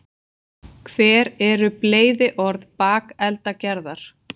hver eru bleyðiorð bakeldagerðar